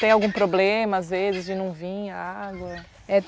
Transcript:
Tem algum problema, às vezes, de não vir a água? É